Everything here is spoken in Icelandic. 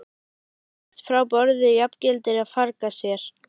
Að hlaupast frá borði jafngildir að farga sér.